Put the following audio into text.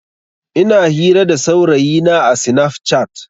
Ina hira da saurayina a sinaf cat.